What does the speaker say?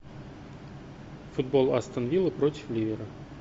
футбол астон вилла против ливера